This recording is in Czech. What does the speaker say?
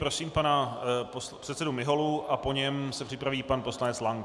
Prosím pana předsedu Miholu a po něm se připraví pan poslanec Lank.